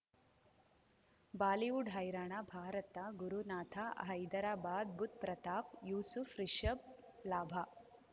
Bollywood ಹೈರಾಣ ಭಾರತ ಗುರುನಾಥ ಹೈದರಾಬಾದ್ ಬುಧ್ ಪ್ರತಾಪ್ ಯೂಸುಫ್ ರಿಷಬ್ ಲಾಭ